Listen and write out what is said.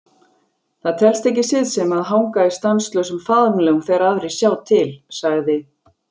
Það telst ekki siðsemi að hanga í stanslausum faðmlögum þegar aðrir sjá til, sagði